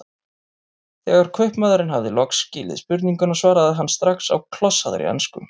Þegar kaupmaðurinn hafði loks skilið spurninguna svaraði hann strax á klossaðri ensku